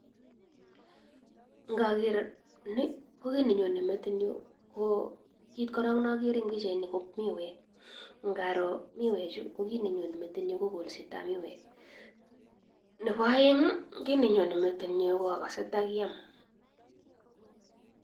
Ngakere ni ko kit nenyo metit nyu , ko kit koro nakere en pichaini ko miwek ,ngaro miwe chu ko kit nenyo metit nyu ko kolset ap miwek, nebo aeng kit nenyo metit nyu akase takiam.